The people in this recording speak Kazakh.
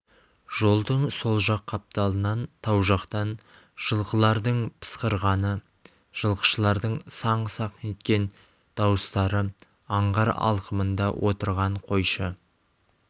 жолдың сол жақ қапталынан тау жақтан жылқылардың пысқырғаны жылқышылардың саңқ-саңқ еткен дауыстары аңғар алқымында отырған қойшы